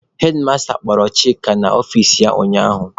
Hedmasta kpọrọ Chika n'ọfici ya ụnyaahụ.